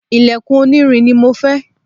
ilẹ̀kùn onírin ni mo fẹ́